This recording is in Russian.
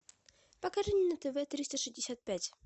покажи мне на тв триста шестьдесят пять